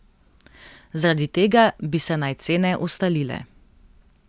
Zaradi tega bi se naj cene ustalile.